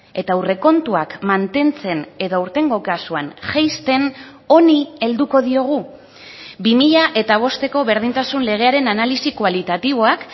eta aurrekontuak mantentzen edo aurtengo kasuan jaisten honi helduko diogu bi mila bosteko berdintasun legearen analisi kualitatiboak